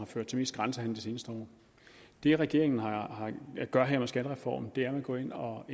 ført til grænsehandel seneste år det regeringen gør her med skattereformen er at gå ind og